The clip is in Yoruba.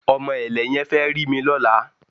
Ọmọ ẹ̀lẹ̀ yẹn fẹ́ rí mi lọ́la